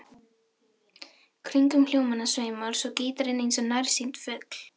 Kringum hljómana sveimar svo gítarinn eins og nærsýnn fugl.